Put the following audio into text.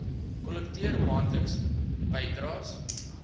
kollekteer maandeliks bydraes